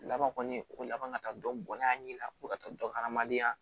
Laban kɔni ko laban ka taa dɔniya ɲɛ la ko ka taa dɔn adamadenya